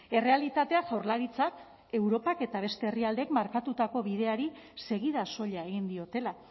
errealitatea jaurlaritzak europak eta beste herrialdeek markatutako bideari segida soila egin diotela